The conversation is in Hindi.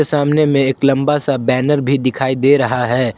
सामने में एक लंबा सा बैनर भी दिखाई दे रहा है।